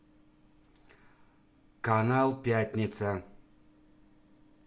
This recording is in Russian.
канал пятница